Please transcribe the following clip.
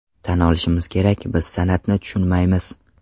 Tan olishimiz kerak, biz san’atni tushunmaymiz.